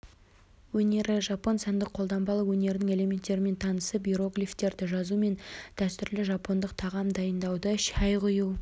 өнері жапон сәндік-қолданбалы өнерінің элементтерімен танысып иероглифтерді жазу мен дәстүрлі жапондық тағам дайындауды шәй құю